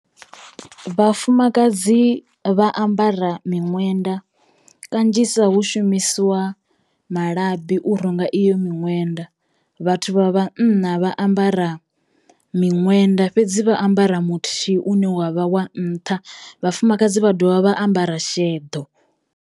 Vhafumakadzi vha ambara miṅwenda kanzhisa hu shumisiwa malabi u runga iyo miṅwenda, vhathu vha vhanna vha ambara miṅwenda fhedzi vha ambara muthihi une wavha wa nṱha, vhafumakadzi vha dovha vha ambara sheḓo.